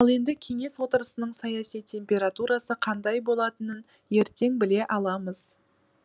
ал енді кеңес отырысының саяси температурасы қандай болатынын ертең біле аламыз